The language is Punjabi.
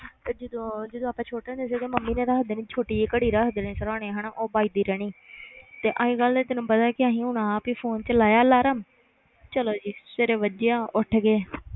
ਤੇ ਜਦੋਂ ਜਦੋਂ ਆਪਾਂ ਛੋਟੇ ਹੁੰਦੇ ਸੀਗੇ ਮੰਮੀ ਨੇ ਰੱਖ ਦੇਣੀ ਛੋਟੀ ਜਿਹੀ ਘੜੀ ਰੱਖ ਦੇਣੀ ਸਿਰਾਹਣੇ ਹਨਾ, ਉਹ ਵੱਜਦੀ ਰਹਿਣੀ ਤੇ ਅੱਜ ਕੱਲ੍ਹ ਤੈਨੂੰ ਪਤਾ ਕਿ ਅਸੀਂ ਹੁਣ ਆਪ ਹੀ phone 'ਚ ਲਾਇਆ alarm ਚਲੋ ਜੀ ਸਵੇਰੇ ਵੱਜਿਆ ਉੱਠ ਗਏ